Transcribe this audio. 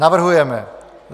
Navrhujeme